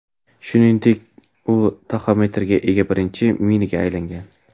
Shuningdek, u taxometrga ega birinchi Mini’ga aylangan.